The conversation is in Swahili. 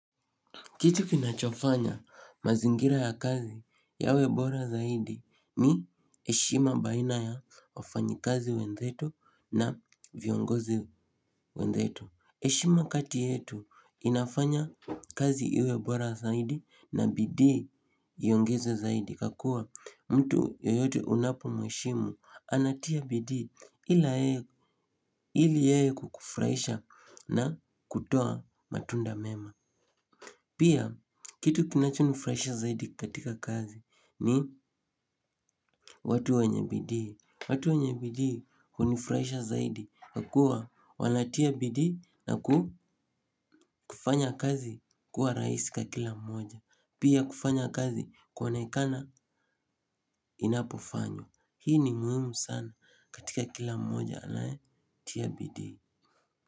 Kitu kinacho fanya mazingira ya kazi yawe bora zaidi ni heshima baina ya wafanyikazi wenzetu viongozi wenzetu. Eshima kati yetu inafanya kazi iwebora zaidi na bidii yongeze zaidi kakua mtu yoyote unapo mwishimu anatia bidii ili yeye kukufraisha na kutoa matunda mema. Pia kitu kinacho nifraisha zaidi katika kazi ni watu wenye bidii watu wenye bidii hunifraisha zaidi kwa kuwa wanatia bidii na ku kufanya kazi kuwa raisi kakila mmoja. Pia kufanya kazi kuonekana inapofanywa. Hii ni muhimu sana katika kila mmoja anaetia bidi.